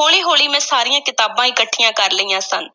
ਹੌਲੀ-ਹੌਲੀ ਮੈਂ ਸਾਰੀਆਂ ਕਿਤਾਬਾਂ ਇਕੱਠੀਆਂ ਕਰ ਲਈਆਂ ਸਨ